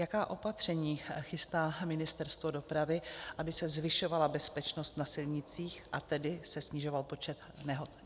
Jaká opatření chystá Ministerstvo dopravy, aby se zvyšovala bezpečnost na silnicích, a tedy se snižoval počet nehod?